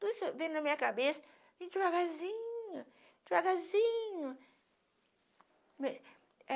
Tudo isso veio na minha cabeça vem devagarzinho, devagarzinho. Me é